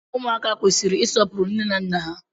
Ụmụaka kwesịrị isọpuru nne na nna ha